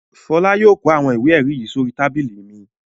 Fọlá yóò kó àwọn ìwé-ẹ̀rí yìí sórí tábìlì mi.